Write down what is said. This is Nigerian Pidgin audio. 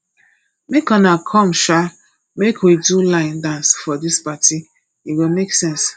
make una come um make we do line dance for dis party e go make sense